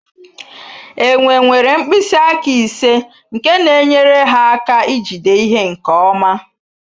Enwe nwere mkpịsị aka ise nke na-enyere ha aka ijide ihe nke ọma